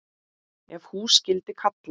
Ef hús skyldi kalla.